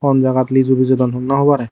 honjaat lesu bejodon honna hobore.